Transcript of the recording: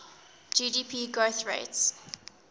gdp growth rates